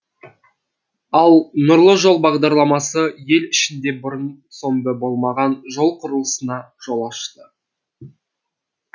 ал нұрлы жол бағдарламасы ел ішінде бұрын соңды болмаған жол құрылысына жол ашты